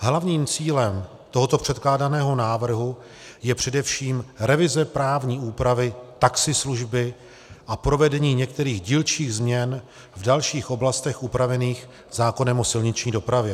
Hlavním cílem tohoto předkládaného návrhu je především revize právní úpravy taxislužby a provedení některých dílčích změn v dalších oblastech upravených zákonem o silniční dopravě.